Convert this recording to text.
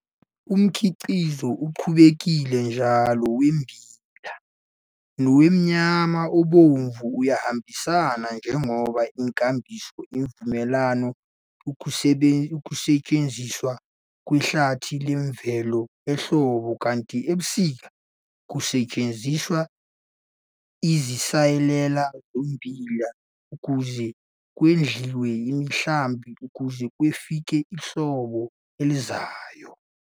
Umkhiqizo oqhubekile njalo wommbila nowenyama ebomvu uyahambisana njengoba inkambiso ivumela ukusetshenziswa kwehlathi lemvelo ehlobo kanti ebusika kusetshenziswe izinsalela zommbila ukuze kondliwe imihlambi kuze kufike ihlobo elizayo.